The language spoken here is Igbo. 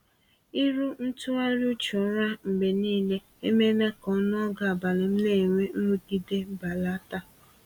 Ịrụ ntụgharị uche ụra mgbe niile emeela ka ọnụọgụ abalị m na-enwe nrụgide belata.